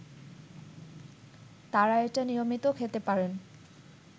তারা এটা নিয়মিত খেতে পারেন